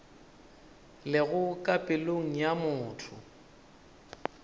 lego ka pelong ya motho